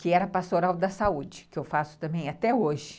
Que era pastoral da saúde, que eu faço também até hoje.